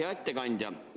Hea ettekandja!